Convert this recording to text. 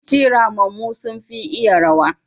yawanci ramammu sun fi iya rawa.